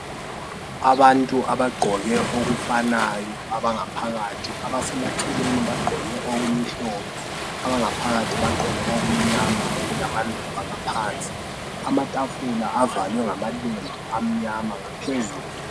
Abantu abagqoke okufanayo abangaphakathi, abasemaceleni bagqoke okumhlophe, abangaphakathi bagqoke okumnyama okulamaluba ngaphansi. Amatafula avalwe ngamalembu amnyama ngaphezulu.